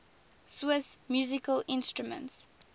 swiss musical instruments